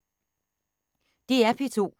DR P2